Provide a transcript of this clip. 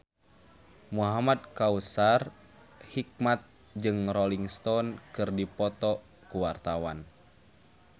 Muhamad Kautsar Hikmat jeung Rolling Stone keur dipoto ku wartawan